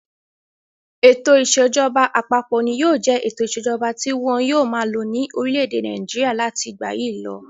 Ètò ìṣèjọba àpapọ̀ ni yóò jẹ ètò ìṣèjọba tí wọn yóò máa lo ní orílẹ̀-èdè Nàìjíríà láti ìgbà yìí lọ.